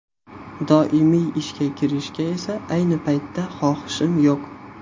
Doimiy ishga kirishga esa ayni paytda xohishim yo‘q.